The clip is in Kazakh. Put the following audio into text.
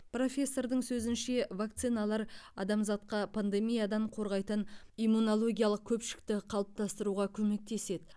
профессордың сөзінше вакциналар адамзатқа пандемиядан қорғайтын иммунологиялық көпшікті қалыптастыруға көмектеседі